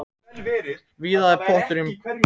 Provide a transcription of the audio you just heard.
Víða er pottur brotinn.